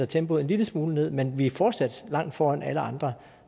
tempoet en lille smule ned men vi er fortsat langt foran alle andre